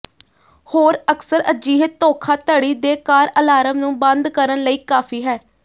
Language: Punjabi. ਹੋਰ ਅਕਸਰ ਅਜਿਹੇ ਧੋਖਾਧੜੀ ਦੇ ਕਾਰ ਅਲਾਰਮ ਨੂੰ ਬੰਦ ਕਰਨ ਲਈ ਕਾਫ਼ੀ ਹੈ